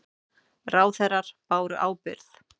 Ráðherrar báru ábyrgð